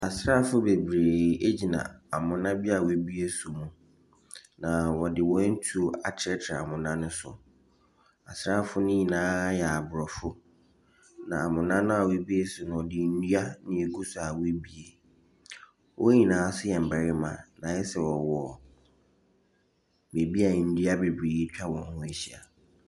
Asrafo bebree egyina amona bi w'ebue so ho. Na wɔde wen tu akyerekyere amona no so. Asrafoɔ nyinaa yɛ aborɔfo na amona na wobue so wɔde ndua na egu so a w'ebue. Wonyinaa so yɛ mbɛrema na ayɛsɛ wɔwɔ bebia ndua bebree etwa wɔn ho ehyia.